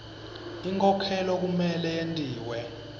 inkhokhelo kumele yentiwe